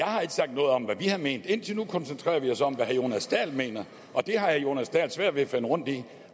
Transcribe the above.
har sagt noget om hvad vi har ment indtil nu koncentrerer vi os om hvad herre jonas dahl mener og det har herre jonas dahl svært ved at finde rundt i